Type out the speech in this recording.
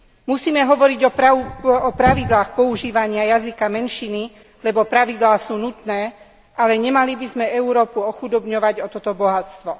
Musíme hovoriť o pravidlách používania jazyka menšiny, lebo pravidlá sú nutné, ale nemali by sme Európu ochudobňovať o toto bohatstvo.